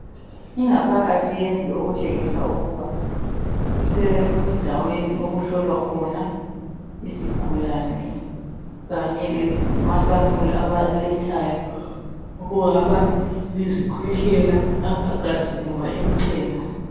Ingaphakathi yendlu okutshengisa ukuba kusendaweni okuhlolwa khona izigulane kanye lamasampuli abawalethayo kungaba yizikhwehlela, amagazi loba imchemo.